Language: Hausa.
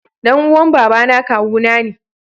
Dan uwan Baba na kawuna ne.